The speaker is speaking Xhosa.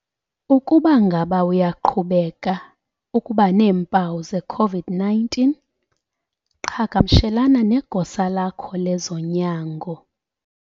Ukuba ngaba uyaqhubeka ukuba neempawu ze-COVID-19 qhagamshelana negosa lakho lezonyango.